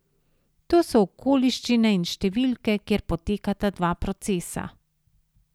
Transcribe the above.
To so okoliščine in številke, kjer potekata dva procesa.